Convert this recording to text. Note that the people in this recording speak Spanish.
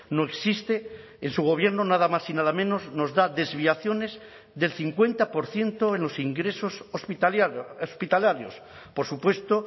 no existe en su gobierno nada más y nada menos nos da desviaciones del cincuenta por ciento en los ingresos hospitalarios por supuesto